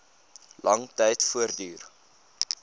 lang tyd voortduur